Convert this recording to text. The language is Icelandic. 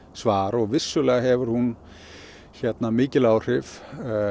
svar vissulega hefur hún mikil áhrif